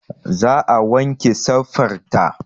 Za a wanke safar ta